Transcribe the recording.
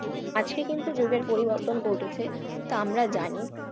আজকে কিন্তু যুগের পরিবর্তন ঘটেছে তা আমরা জানি।